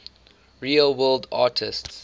real world artists